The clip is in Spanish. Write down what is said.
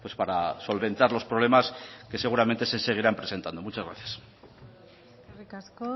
para solventar los problemas que seguramente se seguirán presentando muchas gracias eskerrik asko